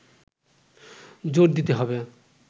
জোড় দিতে হবে